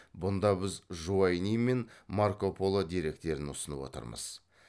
бұнда біз жуайни мен марко поло деректерін ұсынып отырмыз